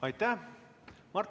Aitäh!